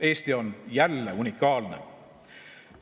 Eesti on jälle unikaalne.